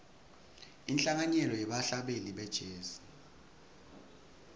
inhlanganyelo yebahlabeleli be jazz